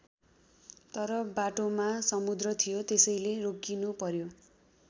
तर बाटोमा समुद्र थियो त्यसैले रोकिनु पर्‍यो।